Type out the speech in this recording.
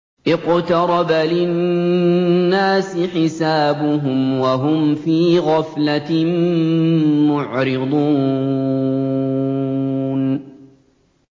اقْتَرَبَ لِلنَّاسِ حِسَابُهُمْ وَهُمْ فِي غَفْلَةٍ مُّعْرِضُونَ